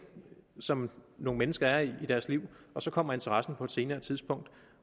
som nogle mennesker er i i deres liv og så kommer interessen på et senere tidspunkt